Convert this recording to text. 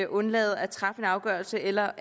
undlade at træffe en afgørelse eller